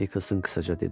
Nikkelsin qısaca dedi.